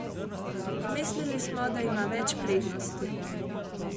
Mislili smo, da ima več prednosti.